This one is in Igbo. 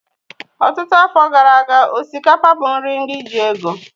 Ọtụtụ afọ gara aga, osikapa bụ nri ndị ji ego